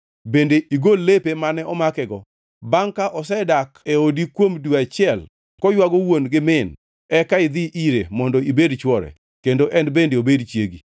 bende igol lepe mane omakego. Bangʼ ka osedak e odi kuom dwe achiel koywago wuon gi min, eka idhi ire mondo ibed chwore kendo en bende obed chiegi.